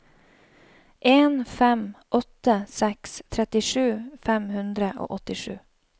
en fem åtte seks trettisju fem hundre og åttisju